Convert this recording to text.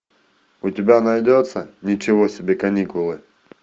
у тебя найдется ничего себе каникулы